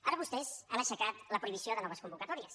ara vostès han aixecat la prohibició de noves convocatòries